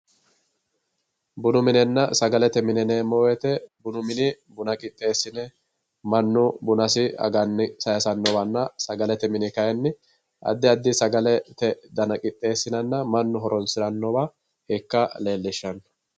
Bunu minenna sagalete mine yineemmo woyiite bunu mini buna qixxeessine mannu bunasi aganni saayiisannowanna sagalete mine kaayiinni addi addi sagalete dana qixxeessinanna mannu horonsirannowa ikka leellishshanno.